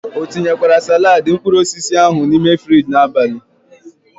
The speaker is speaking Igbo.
O tinyekwara salaadi mkpuruosisi ahu n'ime Fiji n'abali?